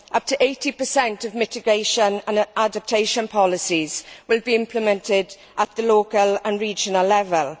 Up to 80 of mitigation and adaptation policies will be implemented at the local and regional levels.